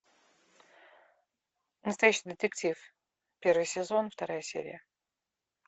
настоящий детектив первый сезон вторая серия